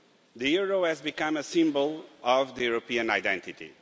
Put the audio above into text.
The euro has become a symbol of the European identity.